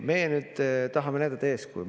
Meie nüüd tahame näidata eeskuju.